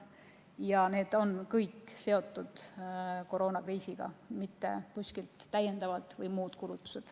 Kõik need kulutused on koroonakriisiga seotud kulutused, mitte täiendavad või muud kulutused.